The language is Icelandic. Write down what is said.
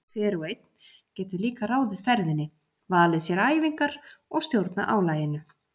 Hver og einn getur líka ráðið ferðinni, valið sér æfingar og stjórnað álaginu.